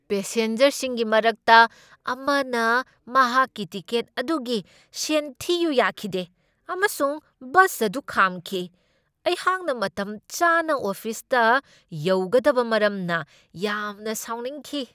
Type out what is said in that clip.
ꯄꯦꯁꯦꯟꯖꯔꯁꯤꯡꯒꯤ ꯃꯔꯛꯇ ꯑꯃꯅ ꯃꯍꯥꯛꯀꯤ ꯇꯤꯀꯦꯠ ꯑꯗꯨꯒꯤ ꯁꯦꯟ ꯊꯤꯌꯨ ꯌꯥꯈꯤꯗꯦ, ꯑꯃꯁꯨꯡ ꯕꯁ ꯑꯗꯨ ꯈꯥꯝꯈꯤ ꯫ ꯑꯩꯍꯥꯛꯅ ꯃꯇꯝꯆꯥꯅ ꯑꯣꯐꯤꯁꯇ ꯌꯧꯒꯗꯕ ꯃꯔꯝꯅ ꯌꯥꯝꯅ ꯁꯥꯎꯅꯤꯡꯈꯤ ꯫